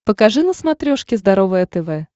покажи на смотрешке здоровое тв